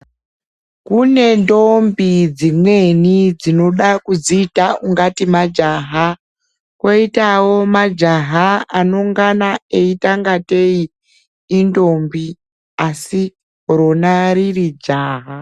Kune ntombi dzimweni dzinoda kudziyita ungateyi majaha, koyitawo majaha anongana eyita ngateyi intombi asi rona riri jaha.